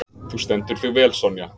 Þú stendur þig vel, Sonja!